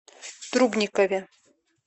трубникове